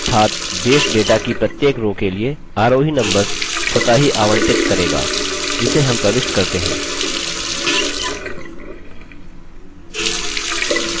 अर्थात base data की प्रत्येक row के लिए आरोही numbers स्वतः ही आवंटित करेगा जिसे हम प्रविष्ट करते हैं